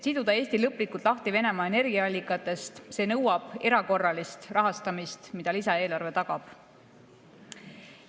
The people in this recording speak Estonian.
Et Eesti lõplikult lahti siduda Venemaa energiaallikatest – see nõuab erakorralist rahastamist, mida lisaeelarve tagab.